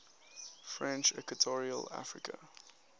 french equatorial africa